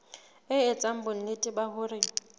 e etsa bonnete ba hore